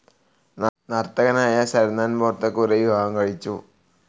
നർത്തകനായ സരനാൻ ബോർത്തകുറെ വിവാഹം കഴിച്ചു.